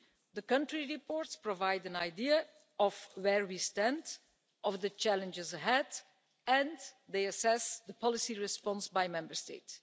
The country reports provide an idea of where we stand and of the challenges ahead and they assess policy response by Member State.